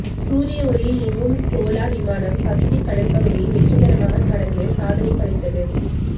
சூரிய ஒளியில் இயங்கும் சோலார் விமானம் பசிபிக் கடல் பகுதியை வெற்றிகரமாக கடந்து சாதனை படைத்தது